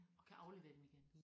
Og kan aflevere dem igen